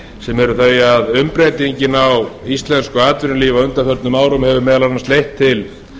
sem er sá að umbreytingin á íslensku atvinnulífi á undanförnum árum hefur meðal annars leitt til